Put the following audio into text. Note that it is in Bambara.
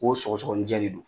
Ko sɔgɔsɔgɔni jɛ de do.